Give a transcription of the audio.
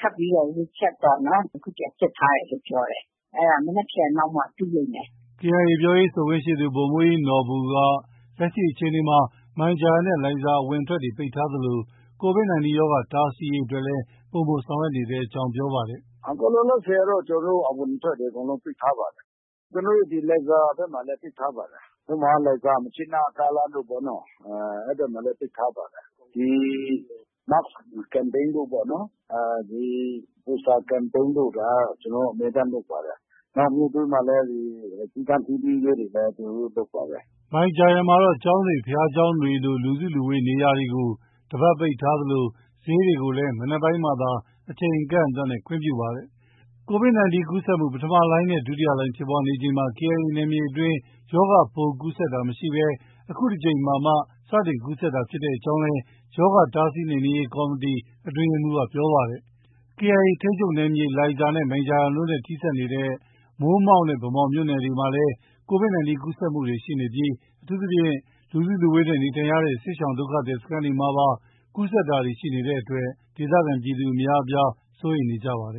ထပ်ပြီးတော့ Recheck ပေါ့နော်။ ထပ်ပြီး ပြန်စစ်ထားတယ်လို့ ပြောတယ်။ အဲဒါ မနက်ဖန်လောက်မှ သိလိမ့်မယ်။” KIA ပြောရေးဆိုခွင့်ရှိသူ ဗိုလ်မှုးကြီးနော်ဘူက လက်ရှိအချိန်မှာ မိုင်ဂျာယန်နဲ့ လိုင်ဇာ အဝင်အထွက်တွေ ပိတ်ထားသလို Covid 19 ရောဂါ ကာကွယ်တားဆီးရေးအတွက်လည်း ပိုမို ဆောင်ရွက်နေကြောင်း ပြောပါတယ်။ “ အခုလောလောဆည်ကတော့ အဝင်အထွက်တွေ အကုန်လုံးပိတ်ထားပါတယ်။ လိုင်ဇာဘက်မှာလည်း ပိတ်ထားပါတယ်။ ဥပမာ လိုင်ဇာ- မြစ်ကြီးနား ကားလမ်းတို့ပေ့ါနော်။အဲဒီမှာလည်း ပိတ်ထားပါတယ်။ ဒီ Mask Campaign တို့ပေါ့နော်။ ဒီ Poster Campaign တို့ ဒါက ကျနော်တို့ အမြဲတမ်းလုပ်ပါတယ်။ နောက် မြို့ထဲမှာလည်း စည်းကမ်းထိန်းသိမ်းရေးတွေလည်း ကျနော်တို့ လုပ်ပါတယ်။ ” မိုင်ဂျာယန်မှာတော့ ကျောင်းတွေ၊ ဘုရားကျောင်းတွေလို လူစုဝေးရာနေရာတွေကို တစ်ပတ်ပိတ်ထားသလို ဈေးတွေကိုလည်း မနက်ပိုင်းမှာသာ အချိန်အကန့်အသတ်နဲ့ ခွင့်ပြုထားပါတယ်။ Covid 19 ကူးစက်မှု ပထမလှိုင်းနဲ့ ဒုတိယလှိုင်း ဖြစ်ပွားချိန်မှာ KIA နယ်မြေအတွင်း ရောဂါပိုး ကူးစက်တာမရှိဘဲ အခုတစ်ကြိမ်မှာမှ စတင်ကူးစက်တာဖြစ်ကြောင်းလည်း ရောဂါ တားဆီးနှိမ်နင်းရေး ကော်မတီ အတွင်းရေးမှုး ပြောပါတယ်။ KIA ထိန်းချုပ်နေယ်မြေ လိုင်ဇာနဲ့ မိုင်ဂျာယန်တို့နဲ့ ထိစပ်နေတဲ့ မိုးမောက်နဲ့ ဗန်းမော်မြို့နယ်တွေမှာလည်း Covid ၁၉ ကူးစက်မှုတွေ ရှိနေပြီး အထူးသဖြင့် လူစုလူဝေးနဲ့ နေထိုင်နေကြရတဲ့ စစ်ရှောင်ဒုက္ခသည်စခန်းတွေမှာပါ ကူးစက်တာရှိနေတဲ့အတွက် ဒေသခံပြည်သူအများ စိုးရိမ်နေကြပါတယ်